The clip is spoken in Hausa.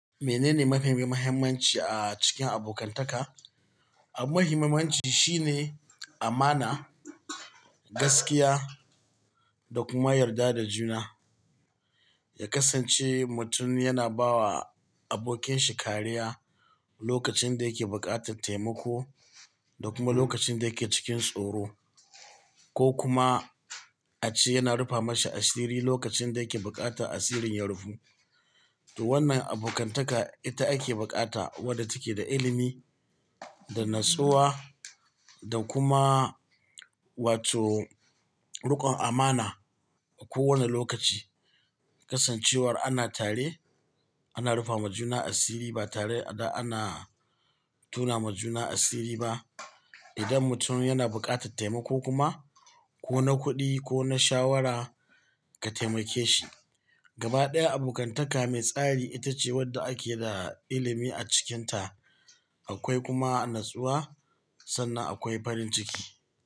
Menene mafi muhimmanci a cikin abokantaka? Abun muhimmanci shine amana, gaskiya da kuma yarda da juna. Ya kasance mutum yana bawa abokinshi kariya lokacin da yake buƙatar taimako da kuma lokacin da yake cikin tsoro ko kuma a ce yana rufa mashi asiri lokacin da yake buƙatar asirin ya rufu. To wannan abokantaka ita ake bukata wadda take da ilimi, da natsuwa da kuma wato rikon amana a kowane lokaci. Kasancewar ana tare ana rufa ma juna asiri ba tare a da ana tona ma juna asiri ba. Idan mutum yana buƙatar taimako kuma ko na kuɗi ko na shawara ka taimake shi. Gaba ɗaya abokantaka mai tsari ita ce wadda ake da ilimi a cikinta. Akwai kuma natsuwa sannan akwai farin ciki.